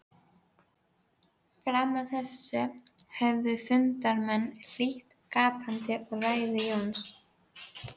Fram að þessu höfðu fundarmenn hlýtt gapandi á ræðu Jóns.